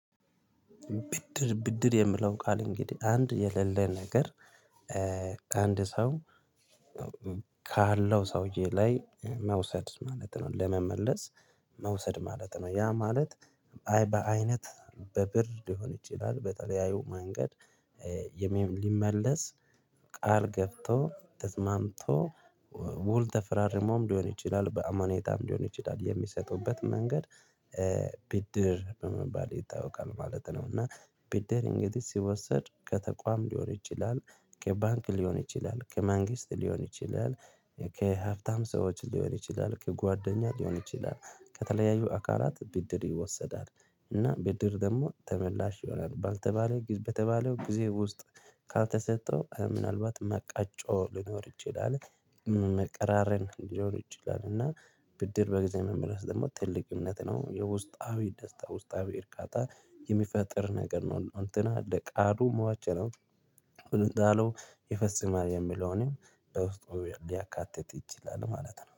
ብድር ብድር የሚለው ቃል እንግዲህ አንድ የሌለ ነገር። አንድ ሰው ካለው ሰውዬ ላይ መውሰድ ማለት ነው ለመመለስ መውሰድ ማለት ነው። ያ ማለት አይ በአይነት በብር ሊሆን ይችላል በተለያዩ መንገድ። የሚመለስ ቃል ገብቶ ተስማምቶ ውል ተፈራርሞም ሊሆን ይችላል በአማኑኔታም ሊሆን ይችላል የሚሰጡበት መንገድ። ብድር በመባል ይታወቃል ማለት ነው። እና ብድል እንግዲህ ሲወሰድ ከተቋም ሊሆን ይችላል ከባንክ ሊሆን ይችላል ከመንግስት ሊሆን ይችላል ከሀብታም ሰዎች ሊሆን ይችላል ከጓደኛ ሊሆን ይችላል ከተለያዩ አካላት ብድር ይወሰዳል እና ብድር ደግሞ ተመላሽ ይሆናል ባልተባለ በተባለው ጊዜ ውስጥ። ካልተሰጠው ምናልባት መቃጮ ሊኖር ይችላል። መቀራረን ሊኖር ይችላል እና ብድር በጊዜ መመለስ ደግሞ ትልቅ እምነት ነው የውስጣዊ ደስታ ውስጣዊ እርካታ የሚፈጥር ነገር ነው። እንትና ለቃሉ ሟች ነው። እንዳለው ይፈፅማል የሚለውን በውስጡ ሊያካትት ይችላል ማለት ነው